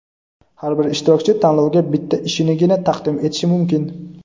Har bir ishtirokchi Tanlovga bitta ishinigina taqdim etishi mumkin.